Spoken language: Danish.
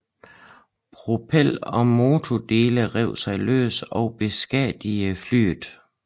Propel og motordele rev sig løs og beskadigede flyet